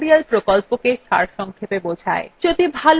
এটি spoken tutorial প্রকল্পটি সারসংক্ষেপে বোঝায়